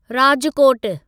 राजकोटु